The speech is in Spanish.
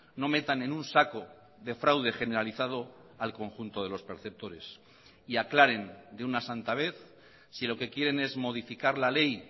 no metan en un saco de fraude generalizado al conjunto de los perceptores y aclaren de una santa vez si lo que quieren es modificar la ley